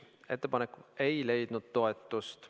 Ettepanek ei leidnud toetust.